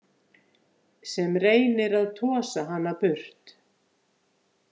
Sem reynir að tosa hana burt.